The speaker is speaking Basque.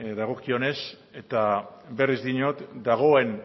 dagokionez eta berriz diot dagoen